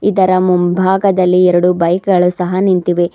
ಇದರ ಮಂಭಾಗದಲಿ ಎರಡು ಬೈಕ್ ಗಳು ಸಹ ನಿಂತಿವೆ.